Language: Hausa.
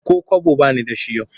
Ko kwabo ba ni da shi yau